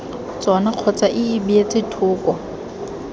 tsona kgotsa ii beetse thoko